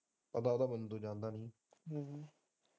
ਪਤਾ ਥਾਂ ਮੈਨੂੰ ਤੋਂ ਜਾਂਦਾ ਨਹੀਂ।